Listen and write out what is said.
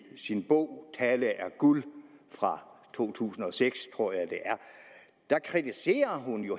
sin bog tale er guld fra to tusind og seks tror jeg det er kritiserer